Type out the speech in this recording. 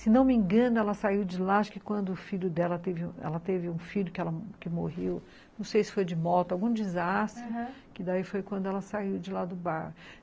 Se não me engano, ela saiu de lá, acho que quando o filho dela teve um filho que morreu, não sei se foi de moto, algum desastre, aham, que daí foi quando ela saiu de lá do bar.